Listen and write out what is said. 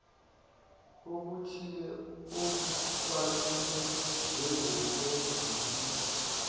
obuthile obubalulwe njengokwedluliswa